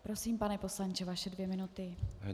Prosím, pane poslanče, vaše dvě minuty.